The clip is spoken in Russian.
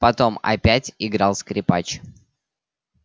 потом опять играл скрипач